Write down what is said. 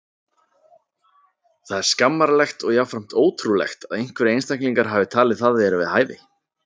Það er skammarlegt og jafnframt ótrúlegt að einhverjir einstaklingar hafi talið það vera við hæfi.